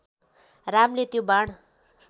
रामले त्यो बाण